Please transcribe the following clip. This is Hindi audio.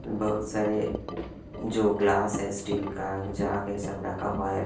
बहुत सारे जो ग्लास है स्टील का जाग है सब रखा हुआ है।